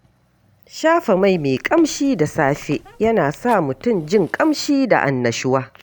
Shafa mai mai ƙamshi da safe yana sa mutum jin ƙamshi da annashuwa.